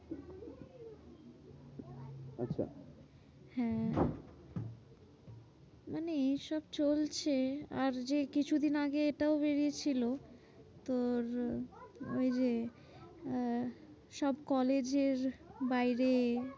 হ্যাঁ মানে এইসব চলছে। আর যে কিছুদিন আগে এটাও বেরিয়ে ছিল। তোর ওই যে আহ সব কলেজের বাইরে